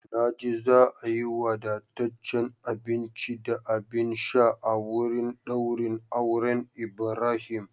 Na ji za a yi wadataccen abinci da abin sha a wurin daurin auren Ibrahim.